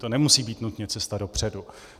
To nemusí být nutně cesta dopředu.